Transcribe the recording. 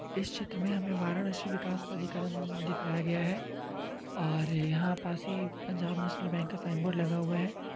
इस चित्र में हमें वाराणसी विकास प्राधिकरण दिखाया गया है और यहाँ पास ही पंजाब नैशनल बैंक का साइन बोर्ड लगा हुआ है।